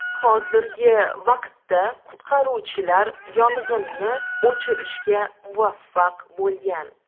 Hozirgi vaqtda qutqaruvchilar yong‘inni o‘chirishga muvaffaq bo‘lgan.